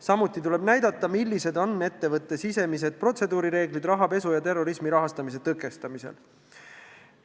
Samuti tuleb näidata, millised on ettevõtte sisemised protseduurireeglid rahapesu ja terrorismi rahastamise tõkestamisel.